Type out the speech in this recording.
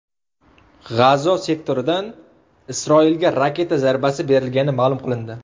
G‘azo sektoridan Isroilga raketa zarbasi berilgani ma’lum qilindi.